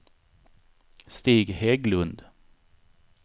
Stig Hägglund